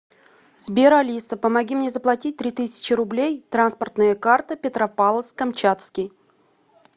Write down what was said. сбер алиса помоги мне заплатить три тысячи рублей транспортная карта петропавловск камчатский